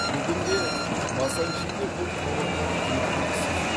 бүгінде масанчиде бұл тауарлар жеткіліксіз